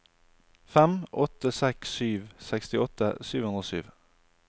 fem åtte seks sju sekstiåtte sju hundre og sju